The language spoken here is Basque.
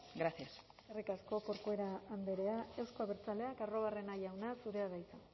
gracias eskerrik asko corcuera andrea euzko abertzaleak arruabarrena jauna zurea da hitza